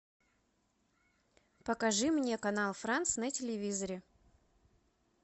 покажи мне канал франс на телевизоре